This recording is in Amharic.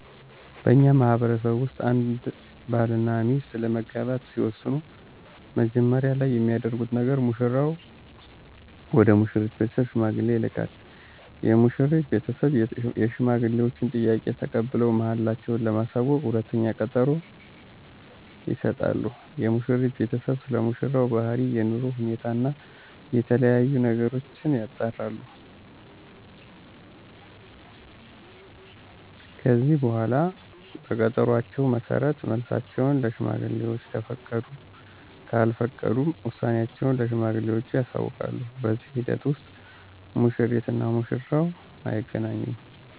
በእኛ ማህበረሰብ ውስጥ አንድ ባል እና ሚስት ለመጋባት ሲወስኑ መጀመሪያ ላይ የሚያደርጉት ነገር ሙሽራው ወደ ሙሽሪት ቤተሰብ ሽማግሌ ይልካል። የሙሽሪት ቤተሰብ የሽማግሌወችን ጥያቄ ተቀብለው መልሳቸው ለማሳወቅ ሁለተኛ ቀጠሮ ይሰጣሉ። የሙሽሪት ቤተሰብም ስለሙሽራው ባህሪ፣ የኑሮ ሁኔታ እና የተለያዬ ነገሮችን ያጣራሉ። ከዚህ በኃላ በቀጠሮአቸው መሠረት መልሳቸውን ለሽማግሌወች ከፈቀዱም ካልፈቀዱም ውሳኔአቸውን ለሽማግሌወቹ ያሳውቃሉ። በዚህ ሂደት ውስጥ ሙሽሪት እና ሙሽራው አይገናኙም።